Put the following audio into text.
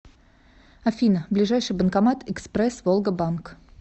афина ближайший банкомат экспресс волга банк